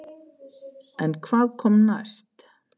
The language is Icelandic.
En hvað kom næst?